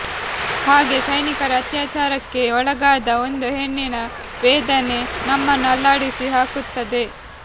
ಹಾಗೆ ಸೈನಿಕರ ಅತ್ಯಾಚಾರಕ್ಕೆ ಒಳಗಾದ ಒಂದು ಹೆಣ್ಣಿನ ವೇದನೆ ನಮ್ಮನ್ನು ಅಲ್ಲಾಡಿಸಿ ಹಾಕುತ್ತದೆ